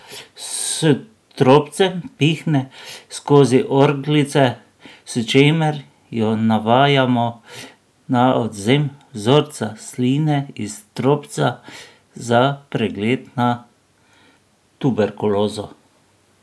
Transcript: S trobcem pihne skozi orglice, s čimer jo navajamo na odvzem vzorca sline iz trobca za pregled na tuberkulozo.